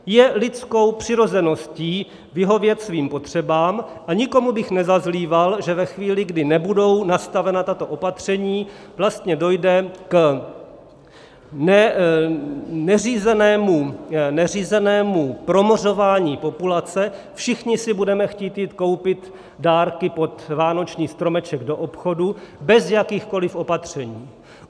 Je lidskou přirozeností vyhovět svým potřebám a nikomu bych nezazlíval, že ve chvíli, kdy nebudou nastavena tato opatření, vlastně dojde k neřízenému promořování populace, všichni si budeme chtít jít koupit dárky pod vánoční stromeček do obchodu bez jakýchkoliv opatření.